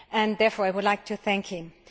Therefore I would like to thank him.